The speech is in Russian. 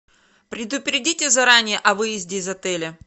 предупредите заранее о выезде из отеля